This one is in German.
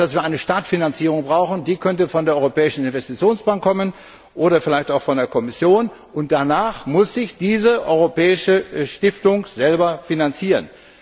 Das heißt, dass wir eine Startfinanzierung brauchen, die könnte von der Europäischen Investitionsbank oder vielleicht auch von der Kommission kommen, und danach muss sich diese europäische Stiftung selber finanzieren.